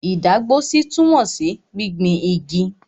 Ìdágbósí túmọ̀ sí gbingbin igi.